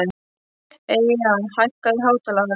Eyja, hækkaðu í hátalaranum.